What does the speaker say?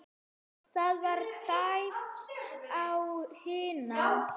Það var dæmt á hina!